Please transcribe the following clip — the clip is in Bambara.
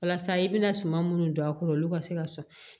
Walasa i bɛna suma munnu don a kɔrɔ olu ka se ka sɔn